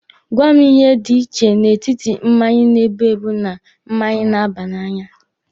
Gwa mụ ihe dị iche n'etiti mmanya na-ebu ebu na mmanya na-aba n'anya.